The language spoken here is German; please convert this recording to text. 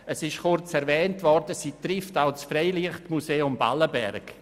Es wurde bereits kurz erwähnt, dass sie auch das Freilichtmuseum Ballenberg betrifft.